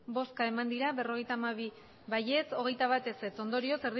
bai berrogeita hamabi ez hogeita bat ondorioz